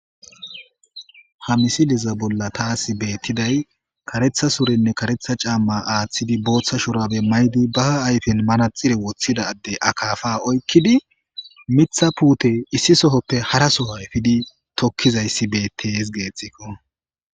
Ha misileza bolla tasi beetiday kaatetha surenne karetha caama aathidi bootha shubare mayidi ba ayfen manaxire wothida addey akapa oykidi Mitha puute issi sohoppe hara Soho epidi tokizaysi beetes geethiko.